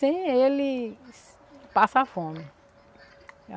Sem ele passar fome.